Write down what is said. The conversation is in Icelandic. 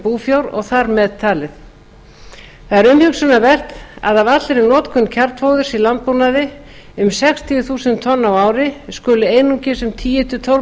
búfjár þá þar með talið það er umhugsunarvert að af allri notkun kjarnfóðurs í landbúnaði um sextíu þúsund tonnum á ári skuli einungis um tíu til tólf